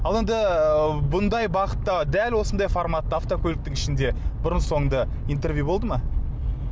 ал енді ы бұндай бағытта дәл осындай форматта автокөліктің ішінде бұрын соңды интервью болды ма